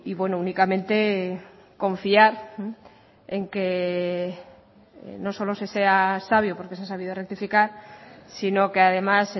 bueno únicamente confiar en que no solo se sea sabio porque se ha sabido rectificar sino que además